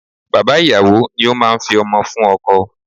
Bàbá ìyàwó ni ó máa ń fi ọmọ fún ọkọ.